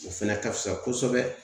O fɛnɛ ka fisa kosɛbɛ.